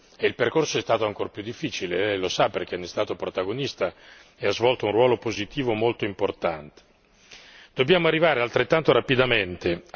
Adesso siamo finalmente al varo delle vigilanza unica e il percorso è stato ancora più difficile Lei lo sa, perché ne è stato protagonista ed ha svolto un ruolo positivo molto importante.